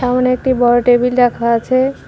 সামনে একটি বড় টেবিল রাখা আছে।